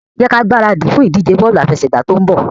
Jẹ́ kí a gbáradì fún ìdíje bọ́ọ̀lù àfẹsẹ̀gbá tó ń bọ̀.